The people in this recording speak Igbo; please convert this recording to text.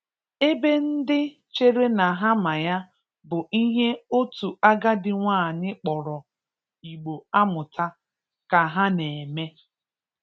ebe ndị chere na ha ma ya, bụ ihe otu agadi nwanyị kpọrọ 'Igbo amụta' ka ha na-eme.